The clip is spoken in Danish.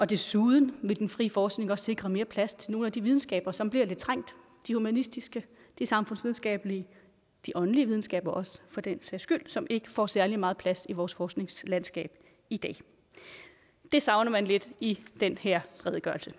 desuden vil den frie forskning også sikre mere plads til nogle af de videnskaber som bliver lidt trængt de humanistiske de samfundsvidenskabelige de åndelige videnskaber også for den sags skyld som ikke får særlig meget plads i vores forskningslandskab i dag det savner man lidt i den her redegørelse